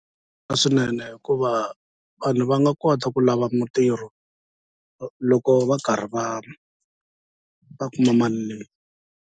Swinene hikuva vanhu va nga kota ku lava mitirho loko va karhi va va kuma mali leyi.